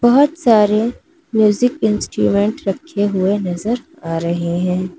बहुत सारे music instrument रखे हुए नजर आ रहे हैं।